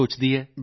ਬਿਲਕੁਲ ਸਰ